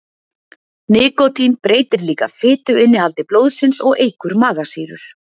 Nikótín breytir líka fituinnihaldi blóðsins og eykur magasýrur.